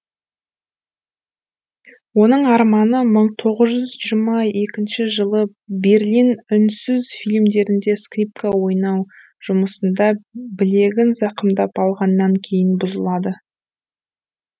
оның арманы мың тоғыз жүз жиырма екінші жылы берлин үнсіз фильмдерінде скрипка ойнау жұмысында білегін зақымдап алғаннан кейін бұзылады